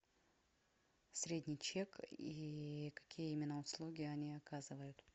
средний чек и какие именно услуги они оказывают